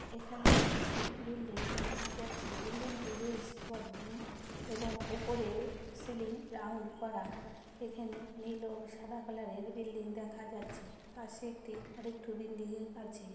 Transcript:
এখানে একটি বিল্ডিং দেখা যাচ্ছে বিল্ডিং টি বেশ বড়ো উউ এবং উপরে সিলিং রাউন্ড করা এখানে নীল ও সাদা কালারের বিল্ডিং দেখা যাচ্ছে পাশে একটি আরেকটু বিন্দিরে আছে।